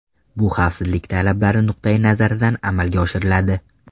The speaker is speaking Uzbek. Bu xavfsizlik talablari nuqtai nazaridan amalga oshiriladi.